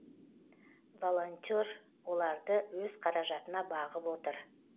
волонтер оларды өз қаражатына бағып отыр